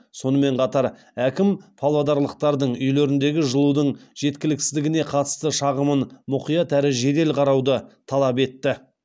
сонымен қатар әкім павлодарлықтардың үйлеріндегі жылудың жеткіліксіздігіне қатысты шағымын мұқият әрі жедел қарауды талап етті